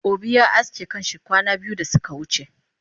Obi ya aske kanshi kwana biyu dasuka wuce